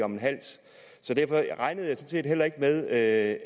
om en hals derfor regnede jeg sådan set heller ikke med at